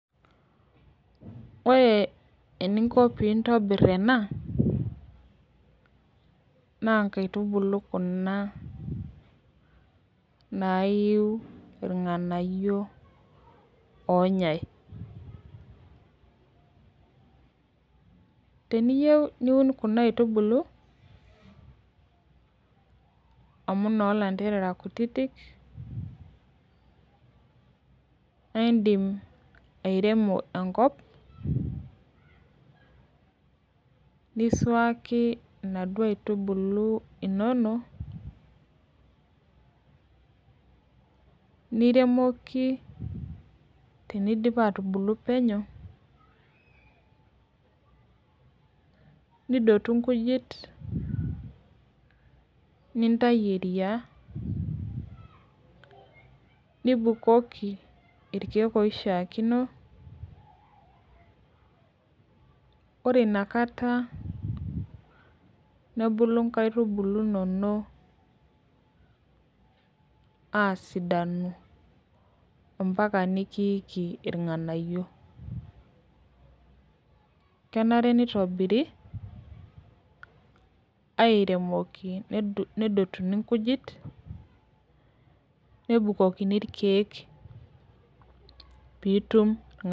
Ore eninko pintobir ena, na nkaitubulu kuna naiu irng'anayio onyai. Teniyieu niun kuna aitubulu, amu nolanterera kutitik, naidim airemo enkop, nisuaki naduo aitubulu inonok, niremoki tenidip atubulu penyo, nidotu nkujit, nintayu eriaa, nibukoki irkeek oishaakino, ore inakata nebulu inkaitubulu inonok asidanu, ampaka nikiiki irng'anayio. Kenare nitobiri, airemoki nedotuni nkujit, nebukokini irkeek pitum irng'anayio.